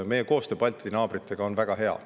Meie koostöö Balti naabritega on väga hea.